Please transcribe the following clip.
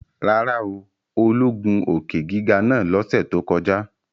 Rárá o, Olú gun òkè-giga naa lọ́sẹ̀ tó kọjá